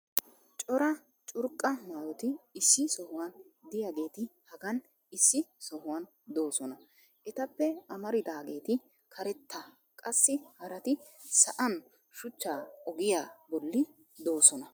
cora curqqa maayoti issi sohuwan diyageti hagan issi sohuwan doosona. etappe amaridaageeti karetta qassi haraati sa'an shuchcha ogiyaa boli doosona.